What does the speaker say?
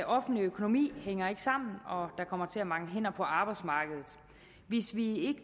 offentlige økonomi hænger ikke sammen og der kommer til at mangle hænder på arbejdsmarkedet hvis vi